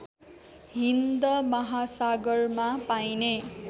हिन्द महासागरमा पाइने